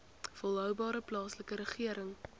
volhoubare plaaslike regering